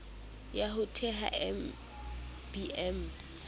ya ho theha mbm e